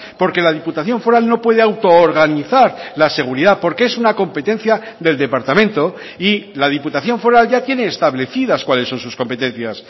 porque la diputación foral no puede autoorganizar la seguridad porque es una competencia del departamento y la diputación foral ya tiene establecidas cuáles son sus competencias